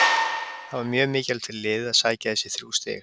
Það var mjög mikilvægt fyrir liðið að sækja þessi þrjú stig.